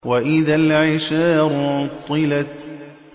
وَإِذَا الْعِشَارُ عُطِّلَتْ